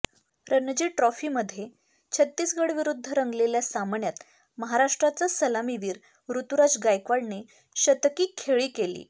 रणजी ट्रॉफीमध्ये छत्तीसगढविरुद्ध रंगलेल्या सामन्यात महाराष्ट्राचा सलामीवीर ऋतुराज गायकवाडने शतकी खेळी केली